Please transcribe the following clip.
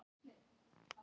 Nei, ekki sem ég veit um.